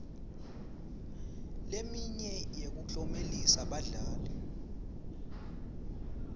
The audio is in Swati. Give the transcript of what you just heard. leminye yekuklomelisa badlali